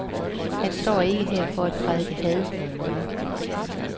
Han står ikke her for at prædike had mod nogen.